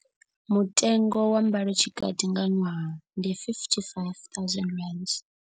Mutengo wa mbalotshikati nga ṅwaha ndi R55 000.